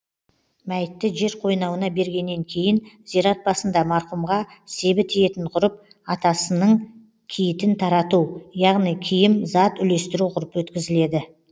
мәйітті жер қойнауына бергеннен кейін зират басында марқұмға себі тиетін ғұрып атасының киітін тарату яғни киім зат үлестіру ғұрпы өткізіледі